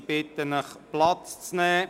Ich bitte Sie, Platz zu nehmen.